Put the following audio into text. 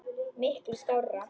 Miklu skárra.